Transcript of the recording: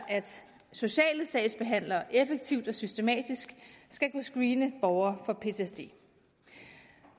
socialsagsbehandlere effektivt og systematisk skal kunne screene borgere for ptsd